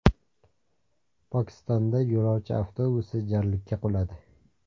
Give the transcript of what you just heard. Pokistonda yo‘lovchi avtobusi jarlikka quladi.